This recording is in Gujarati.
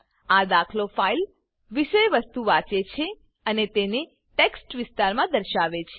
આ દાખલો ફાઈલ વિષયવસ્તુ વાંચે છે અને તેને ટેક્સ્ટ વિસ્તારમાં દર્શાવે છે